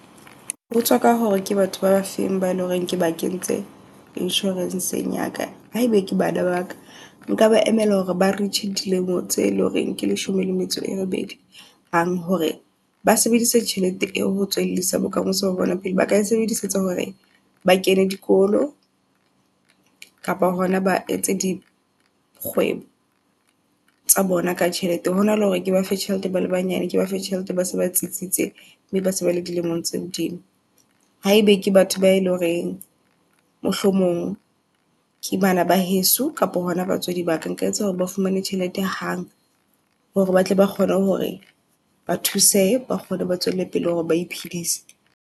Ho tswa ka hore ke batho ba feng ba eleng hore ke ba kentse insurancegeng ya ka. Haebe ke bana ba ka nka ba emela hore ba reach dilemo tse leng hore ke leshome le metso e robedi. Hang hore ba sebedise tjhelete eo ho bokamoso bona pele, ba ka e sebedisetsa hore ba kene dikolo kapa hona ba etse dikgwebo tsa bona ka tjhelete. Hona le hore ke ba fe tjhelete ba le banyane, ke ba fe tjhelete base ba tsitsitse, mme ba se ba le dilemong tse hodimo. Haebe ke batho ba e leng horeng, mohlomong ke bana ba heso kapa hona batswadi ba ka. Nka etsa hore ba fumane tjhelete hang hore ba tle ba kgone hore ba thusehe ba kgone ba tswele pele hore ba iphedisa.